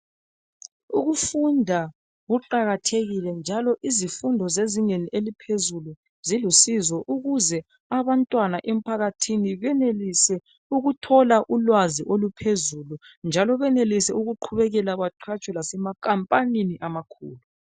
Ukufunda kuqakathekile njalo izifundo zezingeni eliphezulu zilusizo ukuze abantwana emphakathini benelise ukuthola ulwazi oluphezilu njalo benelise ukuqhubeka beqhatshwa lasemakhampanini amakhulu.